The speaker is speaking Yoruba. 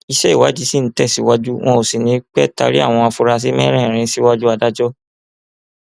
iṣẹ ìwádìí ṣì ń tẹsíwájú wọn ò sì ní í pé taari àwọn afurasí mẹrẹẹrin síwájú adájọ